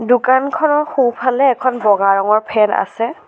দোকানখনৰ সোঁফালে এখন বগা ৰঙৰ ফেন আছে।